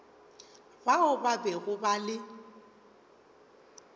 bao ba bego ba le